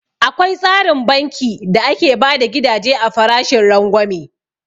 Akwai tsarin banki da ake bada gidaje a farashin rangwame